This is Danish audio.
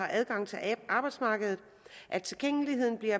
adgang til arbejdsmarkedet at tilgængeligheden bliver